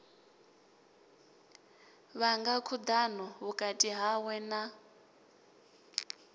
vhanga khudano vhukati hawe na